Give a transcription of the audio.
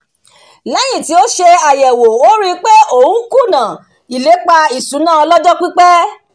lẹ́yìn tí ó ṣe àyẹ̀wò ó rí pé òun kùnà ilépa ìṣúná ọlọ́jọ́-pípẹ́